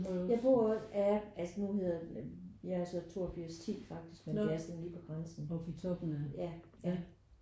Jeg bor ja altså nu hedder den jeg er så 82 10 faktisk med det er sådan lige på grænsen ja ja